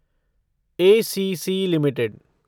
ACC limited